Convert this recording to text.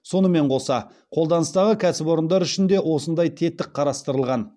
сонымен қоса қолданыстағы кәсіпорындар үшін де осындай тетік қарастырылған